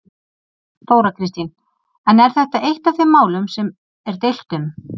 Þóra Kristín: En er þetta eitt af þeim málum sem er deilt um?